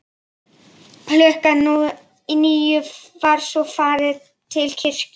Klukkan níu var svo farið til kirkju.